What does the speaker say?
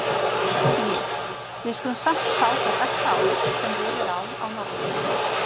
Ég: við skulum samt fá það besta álit, sem völ er á á Norðurlöndum.